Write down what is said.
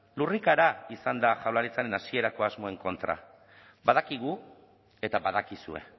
lurrikara izan da jaurlaritzaren hasierako asmoen kontra badakigu eta badakizue